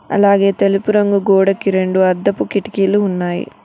అలాగే తెలుపు రంగు గోడకి రెండు అద్దపు కిటికీలు ఉన్నాయి.